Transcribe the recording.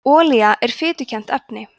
olía er fitukennt efni